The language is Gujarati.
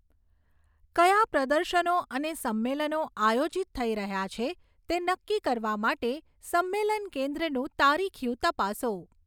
કયા પ્રદર્શનો અને સંમેલનો આયોજિત થઈ રહ્યા છે તે નક્કી કરવા માટે સંમેલન કેન્દ્રનું તારીખિયું તપાસો.